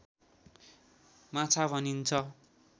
माछा भनिन्छ